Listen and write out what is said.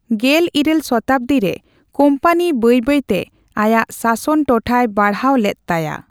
ᱜᱮᱞ ᱤᱨᱟᱹᱞ ᱥᱚᱛᱟᱵᱽᱫᱤ ᱨᱮ ᱠᱳᱢᱯᱟᱱᱤ ᱵᱟᱹᱭ ᱵᱟᱹᱭ ᱛᱮ ᱟᱭᱟᱜ ᱥᱟᱥᱚᱱ ᱴᱚᱴᱷᱟᱭ ᱵᱟᱲᱦᱟᱣ ᱞᱮᱫ ᱛᱟᱭᱟ ᱾